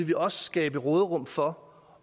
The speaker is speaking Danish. vi også skabe råderum for